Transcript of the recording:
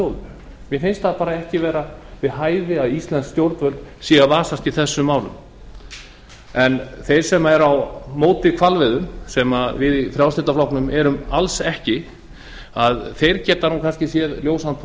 þjóðum mér finnst það bara ekki vera við hæfi að íslensk stjórnvöld vasist í þessum málum þeir sem eru á móti hvalveiðum sem við í frjálslynda flokknum erum alls ekki sjá kannski ljósan